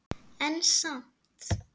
En samt